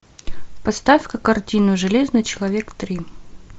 поставь ка картину железный человек три